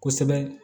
Kosɛbɛ